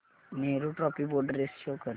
Nehru trophy boat race show कर